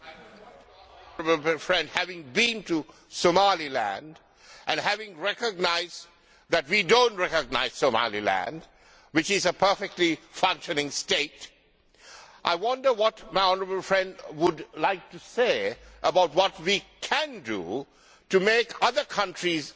Mr President, having been to Somaliland, and having recognised that we do not recognise Somaliland, which is a perfectly functioning state, I wonder what my honourable friend would like to say about what we can do to make other countries